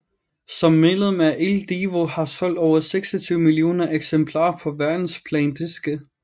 Som medlem af Il Divo har solgt over 26 millioner eksemplarer på verdensplan diske